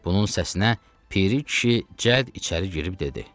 Bunun səsinə Piri kişi cəd içəri girib dedi.